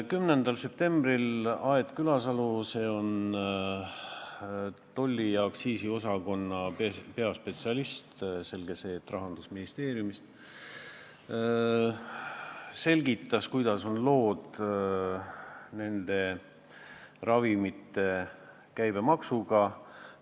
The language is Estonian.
10. septembril Aet Külasalu – ta on tolli- ja aktsiisiosakonna peaspetsialist, selge see, et Rahandusministeeriumist – selgitas, kuidas on lood ravimite käibemaksuga.